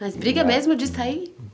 Mas briga mesmo disso aí?